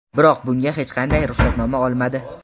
Biroq bunga hech qanday ruxsatnoma olmadi.